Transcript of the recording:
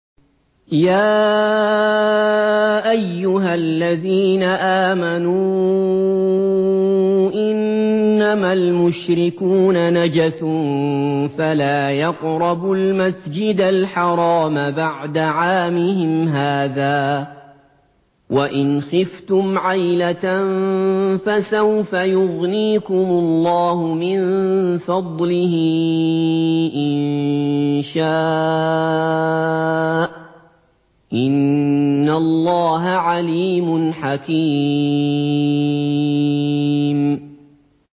يَا أَيُّهَا الَّذِينَ آمَنُوا إِنَّمَا الْمُشْرِكُونَ نَجَسٌ فَلَا يَقْرَبُوا الْمَسْجِدَ الْحَرَامَ بَعْدَ عَامِهِمْ هَٰذَا ۚ وَإِنْ خِفْتُمْ عَيْلَةً فَسَوْفَ يُغْنِيكُمُ اللَّهُ مِن فَضْلِهِ إِن شَاءَ ۚ إِنَّ اللَّهَ عَلِيمٌ حَكِيمٌ